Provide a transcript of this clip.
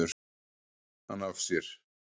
hann af sér.